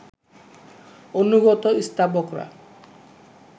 অনুগত স্তাবকরা